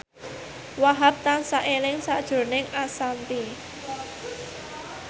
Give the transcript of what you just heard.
Wahhab tansah eling sakjroning Ashanti